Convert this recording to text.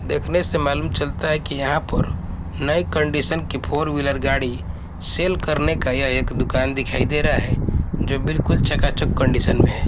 देखने से मालूम चलता है कि यहां पर नए कंडीशन की फोर व्हीलर गाड़ी सेल करने का यह दुकान दिखाई दे रहा है जो बिल्कुल चकाचक कंडीशन में है।